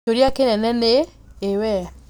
Kĩũria kĩnene nĩ, ĩ we?